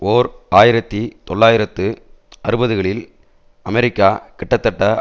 ஓர் ஆயிரத்தி தொள்ளாயிரத்து அறுபதுகளில் அமெரிக்கா கிட்டத்தட்ட